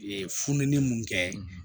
Ee fununi mun kɛ